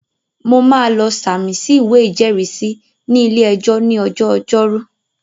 Mo máa lọ sàmì sí ìwé ìjẹ́rìísí ní ilé-ẹjọ́ ní ọjọ́ ọjọ́rú